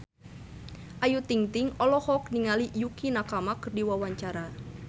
Ayu Ting-ting olohok ningali Yukie Nakama keur diwawancara